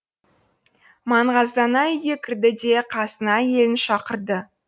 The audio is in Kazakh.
маңғаздана үйге кірді де қасына әйелін шақырды